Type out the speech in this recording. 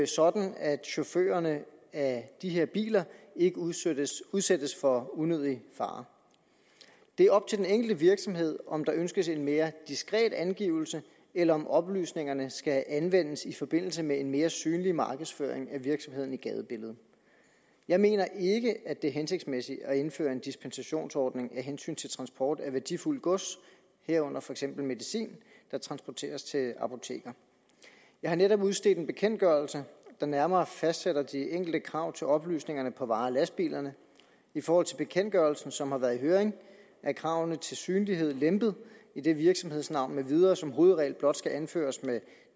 sådan at chaufførerne af de her biler ikke udsættes udsættes for unødig fare det er op til den enkelte virksomhed om der ønskes en mere diskret angivelse eller om oplysningerne skal anvendes i forbindelse med en mere synlig markedsføring af virksomheden i gadebilledet jeg mener ikke at det er hensigtsmæssigt at indføre en dispensationsordning af hensyn til transport af værdifuldt gods herunder for eksempel medicin der transporteres til apoteker jeg har netop udstedt en bekendtgørelse der nærmere fastsætter de enkelte krav til oplysningerne på vare og lastbilerne i forhold til bekendtgørelsen som har været i høring er kravene til synlighed lempet idet virksomhedsnavn med videre som hovedregel blot skal anføres med